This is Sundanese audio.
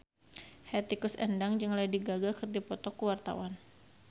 Hetty Koes Endang jeung Lady Gaga keur dipoto ku wartawan